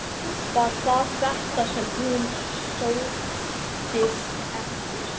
Var það þetta sem hún sóttist eftir?